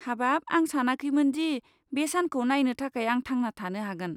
हाबाब, आं सानाखैमोन दि बे सानखौ नायनो थाखाय आं थांना थानो हागोन।